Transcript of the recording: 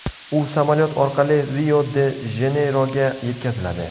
U samolyot orqali Rio-de-Janeyroga yetkaziladi.